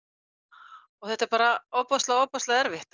og þetta er bara ofboðslega ofboðslega erfitt